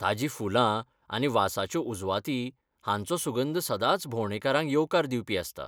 ताजीं फुलां आनी वासाच्यो उजवाती हांचो सुगंध सदांच भोंवडेकारांक येवकार दिवपी आसता.